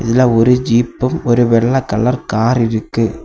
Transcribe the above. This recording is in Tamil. இதுல ஒரு ஜீபும் ஒரு வெள்ளை கலர் கார் இருக்கு.